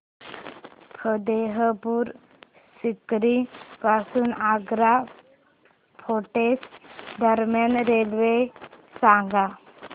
फतेहपुर सीकरी पासून आग्रा फोर्ट दरम्यान रेल्वे सांगा